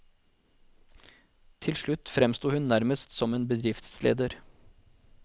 Til slutt fremsto hun nærmest som en bedriftsleder.